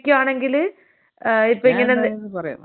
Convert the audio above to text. ഞാനെന്തായാലും പറയാം *not clear*.